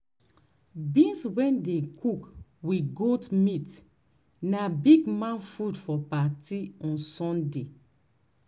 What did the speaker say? beans wey dem cook um with goat meat na um big man food for party on sundays